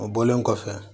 O bɔlen kɔfɛ